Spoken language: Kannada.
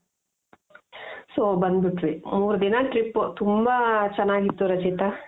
so ಬಂದು ಬಿಟ್ವಿ, ಮೂರು ದಿನ trip ತುಂಬಾ ಚೆನಾಗಿತ್ತು ರಚಿತ .